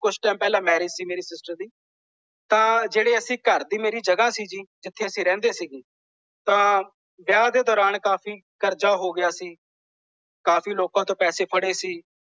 ਕੁੱਝ ਟਾਈਮ ਪਹਿਲਾਂ ਮੈਰਿਜ ਸੀ ਮੇਰੀ ਸਿਸਟਰ ਦੀ। ਤਾਂ ਜਿਹੜੇ ਅਸੀਂ ਘਰ ਦੀ ਮੇਰੀ ਜਗਾਹ ਸੀ ਜੀ। ਜਿੱਥੇ ਅਸੀਂ ਰਹਿੰਦੇ ਸੀ ਜੀ। ਤਾਂ ਵਿਆਹ ਦੇ ਦੌਰਾਨ ਕਾਫੀ ਕਰਜ਼ਾ ਹੋ ਗਿਆ ਸੀ। ਕਾਫ਼ੀ ਲੋਕਾਂ ਤੋਂ ਪੈਸੇ ਫੜੇ ਸੀ।